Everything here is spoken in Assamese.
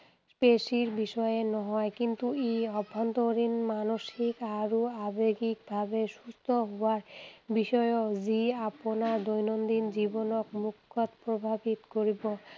পেশীৰ বিষয়েই নহয়। কিন্তু ই আভ্যন্তৰীণ, মানসিক আৰু আৱেগিক ভাৱে সুস্থ হোৱাৰ বিষয়েও, যি আপোনাৰ দৈনন্দিন জীৱনক মুখ্যতঃ প্ৰভাৱিত কৰিব।